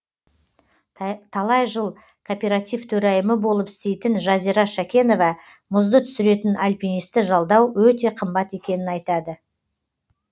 талай жыл кооператив төрайымы болып істейтін жазира шәкенова мұзды түсіретін альпинисті жалдау өте қымбат екенін айтады